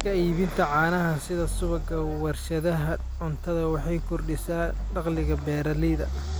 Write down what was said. Ka iibinta caanaha sida subagga warshadaha cuntada waxay kordhisaa dakhliga beeralayda.